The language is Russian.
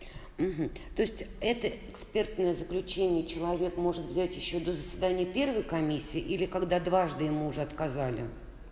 то есть это экспертное заключение человек может взять ещё до заседания первой комиссии или когда дважды ему уже отказали